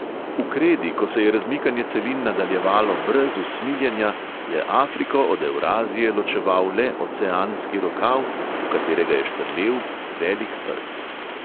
V kredi, ko se je razmikanje celin nadaljevalo brez usmiljenja, je afriko od evrazije ločeval le oceanski rokav, v katerega je štrlel velik rt.